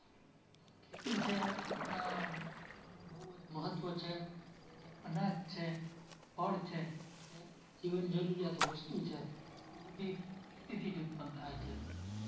ખેતી છે એના એનો બહુ જ મહત્વ છે. જે અનાજ છે, ફળ છે, કે જીવન જરૂરિયાત વસ્તુ છે ઈ બધી ખેતીથી જ ઉત્પન્ન થાય છે.